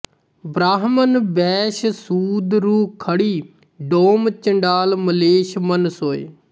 ਬ੍ਰਾਹਮਨ ਬੈਸ਼ ਸੂਦ ਰੁ ਖੜੀ ਡੋਮ ਚੰਡਾਲ ਮਲੇਛ ਮਨ ਸੋਇ